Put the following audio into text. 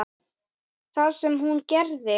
Það sem hún gerði